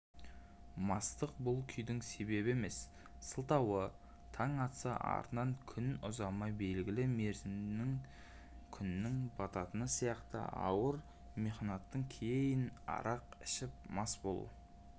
мастық бұл күйдің себебі емес сылтауы таң атса артынан көп ұзамай белгілі мерзімінде күннің бататыны сияқты ауыр мехнаттан кейін арақ ішіп мас болу